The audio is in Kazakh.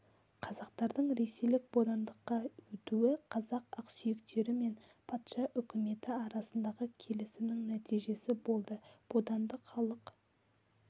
қазақтардың ресейлік бодандыққа өтуі қазақ ақсүйектері мен патша үкіметі арасындағы келісімнің нәтижесі болды бодандық халық